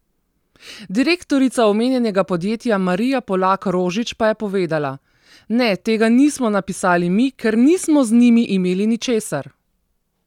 Direktorica omenjenega podjetja Marija Polak Rožič pa je povedala: "Ne, tega nismo napisali mi, ker nismo z njimi imeli ničesar.